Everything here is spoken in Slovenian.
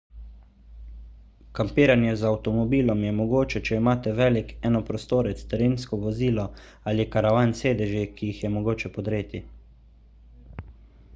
kampiranje z avtomobilom je mogoče če imate velik enoprostorec terensko vozilo ali karavan s sedeži ki jih je mogoče podreti